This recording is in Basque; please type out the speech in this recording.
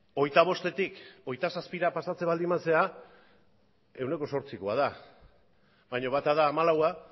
hogeita bostetik hogeita zazpira pasatzen baldin bazara ehuneko zortzikoa da baina bata da hamalaua